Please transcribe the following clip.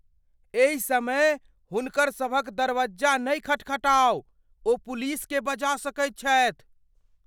एहि समय हुनकरसभक दरवज्जा नहि खटखटाउ। ओ पुलिसकेँ बजा सकैत छथि।